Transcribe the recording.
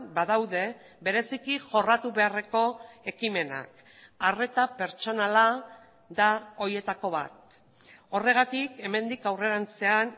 badaude bereziki jorratu beharreko ekimenak arreta pertsonala da horietako bat horregatik hemendik aurrerantzean